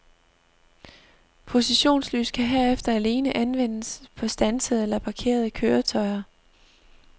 Positionslys kan herefter alene anvendes på standsede eller parkerede køretøjer.